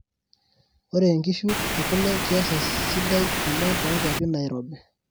Ore ngishu ekule kias esidai oleng tonkwapi nairobi.